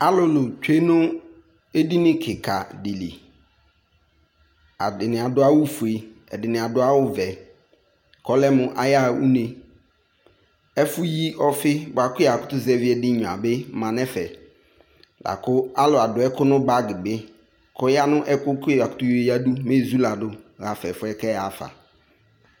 Alulu tsue no edini klka de li Adene ado awufue, ɛdene ado awuvɛ ko ɔlɛ mo ayaha unu Ɛfo yi ɔfi boako ya kutu zɛvi ɛde nyua be ma no ɛfɛ boako alu ado ɛku no bagi be kɔ ya no ɛku ko ya kutu yo yadu mɛ ezulado hafa ɛfɔɛ kɛ yaa fa